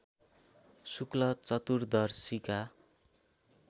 शुक्ल चतुर्दशीका